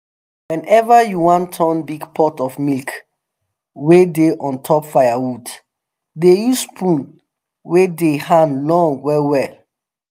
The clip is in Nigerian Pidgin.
whenever you wan turn big pot of milk wey dey on top firewood dey use spoon wey the hand long well well